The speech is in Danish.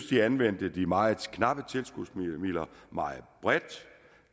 de anvendte de meget knappe tilskudsmidler meget bredt